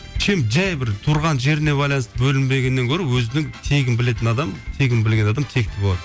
чем жай бір тұрған жеріне байланысты бөлінбегеннен гөрі өзінің тегін білетін адам тегін білген адам текті болады